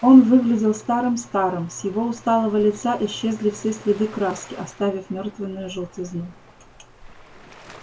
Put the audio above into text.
он выглядел старым-старым с его усталого лица исчезли все следы краски оставив мертвенную желтизну